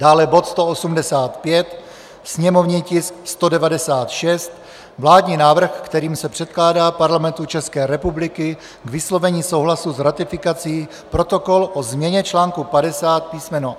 dále bod 185, sněmovní tisk 196 - Vládní návrh, kterým se předkládá Parlamentu České republiky k vyslovení souhlasu s ratifikací Protokol o změně článku 50 písm.